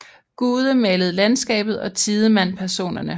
Gude malede landskabet og Tidemand personerne